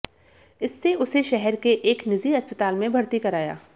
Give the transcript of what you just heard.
इससे उसे शहर के एक निजी अस्पताल में भर्ती कराया